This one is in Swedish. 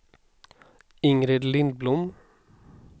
Ingrid Lindblom